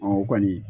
o kɔni